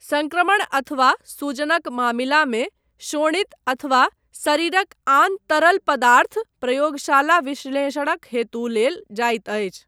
संक्रमण अथवा सूजनक मामिलामे शोणित अथवा शरीरक आन तरल पदार्थ प्रयोगशाला विश्लेषणक हेतु लेल जाइत अछि।